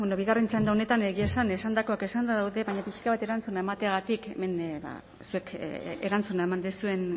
bigarren txanda honetan egia esan esandakoak esanda daude baina pixka bat erantzuna emateagatik hemen zuek erantzuna eman duzuen